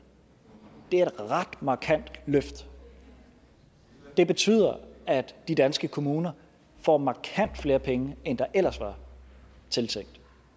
er et ret markant løft det betyder at de danske kommuner får markant flere penge end der ellers var tiltænkt